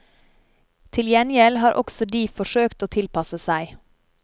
Til gjengjeld har også de forsøkt å tilpasse seg.